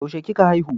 Yaushe kika haihu?